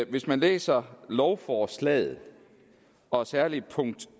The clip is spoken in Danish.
hvis man læser lovforslaget og særlig punkt